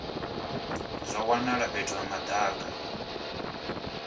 zwa wanala fhethu ha madaka